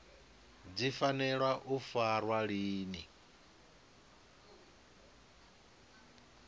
dzi fanela u farwa lini